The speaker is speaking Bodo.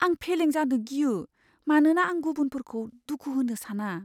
आं फेलें जानो गियो, मानोना आं गुबुनफोरखौ दुखु होनो साना।